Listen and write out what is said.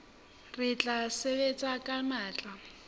re tla sebetsa ka matla